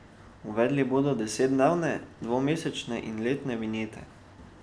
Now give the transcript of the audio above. Uvedli bodo desetdnevne, dvomesečne in letne vinjete.